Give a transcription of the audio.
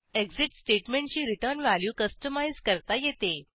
exit स्टेटमेंटची return value customise करता येते